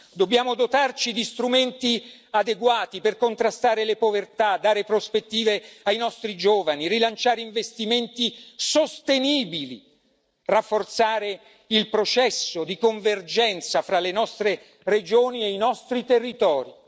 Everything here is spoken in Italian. Dobbiamo dotarci di strumenti adeguati per contrastare le povertà, dare prospettive ai nostri giovani, rilanciare investimenti sostenibili, rafforzare il processo di convergenza fra le nostre regioni e i nostri territori.